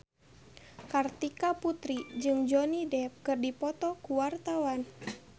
Kartika Putri jeung Johnny Depp keur dipoto ku wartawan